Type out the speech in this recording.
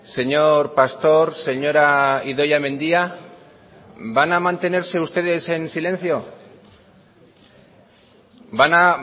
señor pastor señora idoia mendia van a mantenerse ustedes en silencio van a